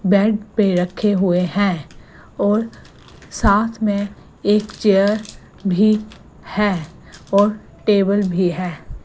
Bed पे रखे हुए है और साथ में एक चेयर भी है और टेबल भी है।